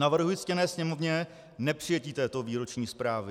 Navrhuji ctěné Sněmovně nepřijetí této výroční zprávy.